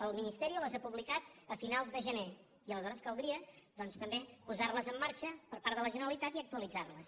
el ministerio les ha publicat a finals de gener i aleshores caldria doncs també posarles en marxa per part de la generalitat i actualitzarles